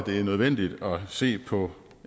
nødvendigt at se på